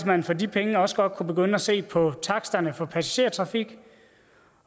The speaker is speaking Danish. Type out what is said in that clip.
man for de penge også godt kunne begynde at se på taksterne for passagertrafik